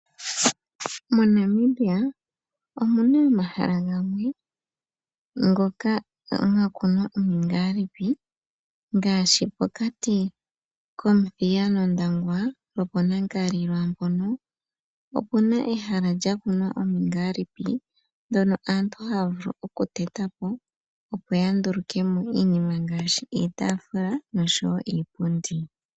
MoNamibia omu na omahala gamwe moka mwa kunwa omingaalipi ngaashi pokati kOmuthiya nOndangwa lwopOnankali lwaa mpoka opu na ehala lya kunwa omingaalipi ndhono aantu haya vulu okuteta po, opo ya nduluke mo iinima ngaashi iitaafula noshowo iipundi.